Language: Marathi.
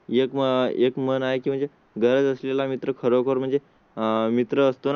एक एक मन आहे म्हणजे गरज असलेला मित्र खरोखर म्हणजे आह मित्र असतो ना.